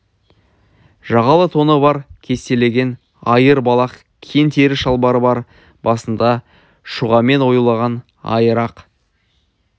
жағалы тоны бар кестелеген айыр балақ кең тері шалбары бар басында шұғамен оюлаған айыр ақ